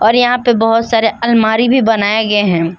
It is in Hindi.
और यहां पे बहोत सारे आलमारी भी बनाए गए हैं।